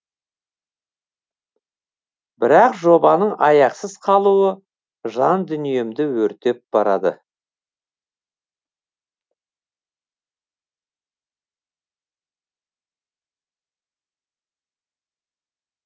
бірақ жобаның аяқсыз қалуы жан дүниемді өртеп барады